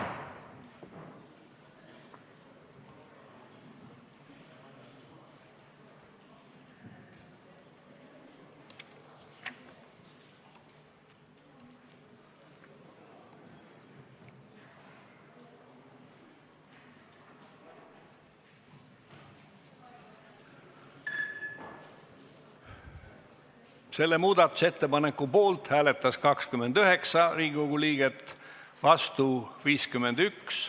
Hääletustulemused Selle muudatusettepaneku poolt hääletas 29 Riigikogu liiget, vastu oli 51.